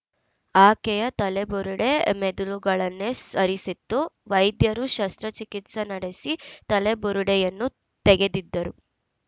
ಆಕೆಯ ತಲೆಬುರುಡೆ ಮೆದುಳುಗಳನೆ ಸರಿಸಿತ್ತು ವೈದ್ಯರು ಶಸ್ತ್ರಚಿಕಿತ್ಸ ನಡೆಸಿ ತಲೆಬುರುಡೆಯನ್ನು ತೆಗೆದಿದ್ದರು